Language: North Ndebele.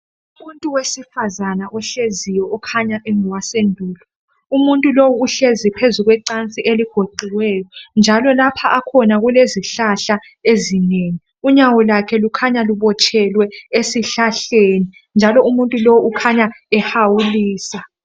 Umuntu wesifazana ohleziyo ukhanya engowasendulo, umuntu lo uhlezi phezulu kwecansi eligoqiweyo njalo lapho akhona kulezihlahla ezinengi. Unyawo lakhe lukhanya lubotshelwe esihlahleni njalo umuntu lo ukhanya ehawulisa.